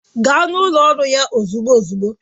Gaa n'ụlọ ọrụ ya ozugbo ozugbo!